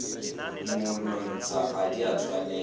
monontsha ga di a tshwanela